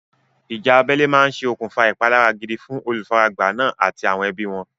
Ìjà abẹ́lé máa ṣe okùnfà ìpalára gidi fún olùfaragbá náà àti àwọn ẹbí wọn.